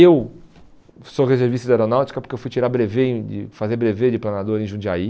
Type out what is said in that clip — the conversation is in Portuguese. Eu sou reservista de aeronáutica porque eu fui tirar brevê em fui fazer brevê de planador em Jundiaí.